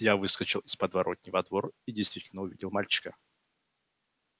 я выскочил из подворотни во двор и действительно увидел мальчика